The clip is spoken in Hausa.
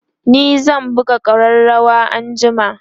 ni zan buga ƙararawa anjima